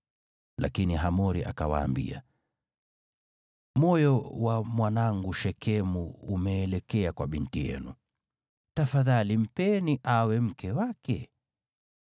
Lakini Hamori akawaambia, “Moyo wa mwanangu Shekemu umeelekea kwa binti yenu. Tafadhali mpeni awe mke wake.